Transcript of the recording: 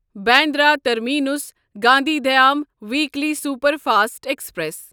Bandra terminus Gandhi Dham weekly superfast express